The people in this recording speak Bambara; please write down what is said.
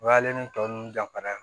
O y'ale ni tɔ ninnu danfara ye